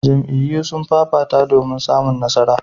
Jam'iyyu sun fafata domin samun nasara.